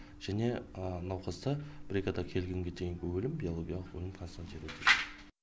және науқаста бригада келгенге дейінгі өлім биологиялық өлім констанироватті